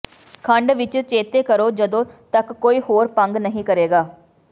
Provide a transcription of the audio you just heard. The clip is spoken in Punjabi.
ਖੰਡ ਵਿੱਚ ਚੇਤੇ ਕਰੋ ਜਦੋਂ ਤੱਕ ਕੋਈ ਹੋਰ ਭੰਗ ਨਹੀਂ ਕਰੇਗਾ